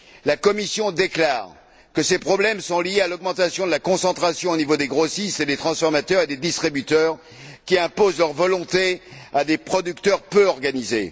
La Commission déclare que ces problèmes sont liés à l'augmentation de la concentration au niveau des grossistes, des transformateurs et des distributeurs, qui imposent leurs volontés à des producteurs peu organisés.